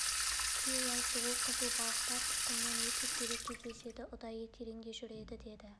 күйеуі айтты ол қызыл балықтар тұқымынан өте сирек кездеседі ұдайы тереңде жүреді деді